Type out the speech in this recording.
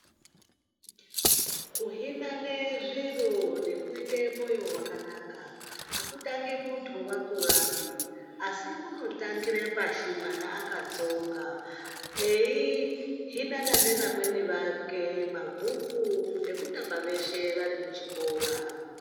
Kuhinane zviro nekuite mwoyo wakana hakutangi muntu akurapi asi kunotangire pashi mwana akatsonga eyi hinana neamweni ake mabhuku nekutamba veshe vari kuchikora.